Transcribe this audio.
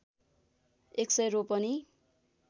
१०० रोपनि